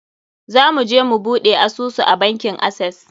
Za mu je mu buɗe asusu a bankin Access.